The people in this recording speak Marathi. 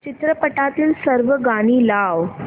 चित्रपटातील सर्व गाणी लाव